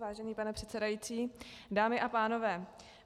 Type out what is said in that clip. Vážený pane předsedající, dámy a pánové.